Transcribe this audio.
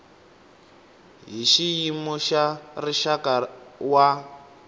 hi xiyimo xa rixaka wa